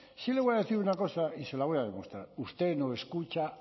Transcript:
sí le voy a decir una cosa y se la voy a demostrar usted no escucha